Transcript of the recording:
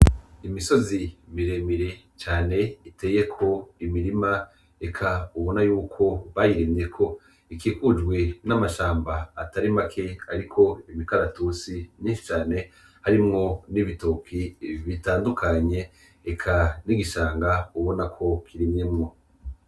Imisozi miremire cane iteyeko imirima eka ubona yuko bayirindeko ikikujwe n'amashamba atarimake, ariko imikaratusi nishi cane harimwo n'ibitoki bitandukanye eka n'igishanga ubona ko kiriinyemwo.